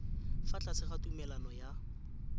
fa tlase ga tumalano ya